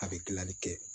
A bɛ dilanli kɛ